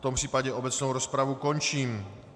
V tom případě obecnou rozpravu končím.